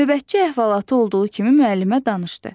Növbətçi əhvalatı olduğu kimi müəllimə danışdı.